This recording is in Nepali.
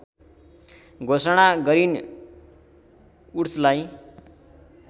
घोषणा गरिन् वुड्सलाई